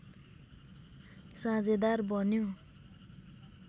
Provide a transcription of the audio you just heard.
साझेदार बन्यो